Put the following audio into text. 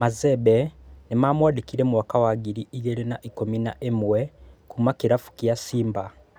Mazembe nĩmamũandĩkire mwaka wa ngiri igĩrĩ na na ikũmi na ĩmwe kuma kĩrabu kĩa Simba